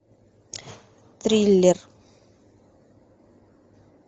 триллер